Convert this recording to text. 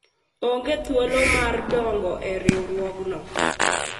aonge thuolo mar donjo e riwruogno